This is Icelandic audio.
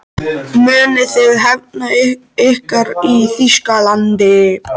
Munuð þið hefna ykkar í Þýskalandi?